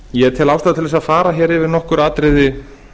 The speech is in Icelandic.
ég tel ástæðu til að fara yfir nokkur atriði